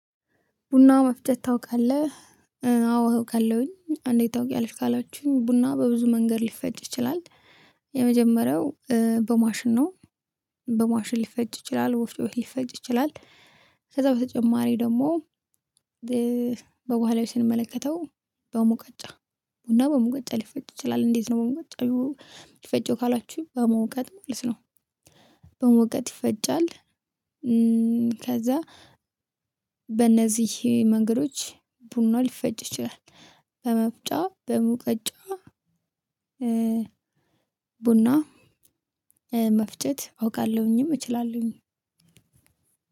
ቡና መፍጨት ታውቃለህ? አዎ አውቃለሁኝ። አንዴት ታውቂያለሽ ካላችሁኝ፤ ቡና በብዙ መንገድ ሊፈጭ ይችላል። የመጀመሪያው በማሽን ነው። በማሽን ሊፈጭ ይችላል፣ ወፍጮ ቤት ሊፈጭ ይችላል። ከዛ በተጨማሪ ደግሞ በባህላዊ ስንመለከተው፤ በሙቀጫ ቡና በሙቀጫ ሊፈጭ ይችላል። እንዴት ነው በሙቀጫ የሚፈጨው ካላችሁ በመውቀጥ ማለት ነው። በመውቀጥ ይፈጫል። ከዛ በእነዚህ መንገዶች ቡና ሊፈጭ ይችላል። በመፍጫ በሙቀጫ ቡና መፍጨት አውቃለሁኝም እችላለሁኝ።